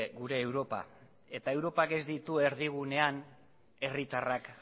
gure europa eta europak ez ditu erdigunean herritarrak